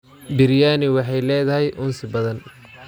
Biryani waxay leedahay uunsi badan.